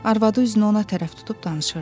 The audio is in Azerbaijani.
Arvadı üzünü ona tərəf tutub danışırdı.